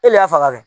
E le y'a faga kɛ